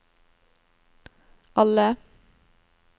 alle